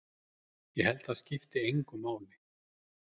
Ég held að það skipti engu máli.